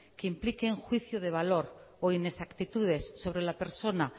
que impliquen juicio de valor o inexactitudes sobre la persona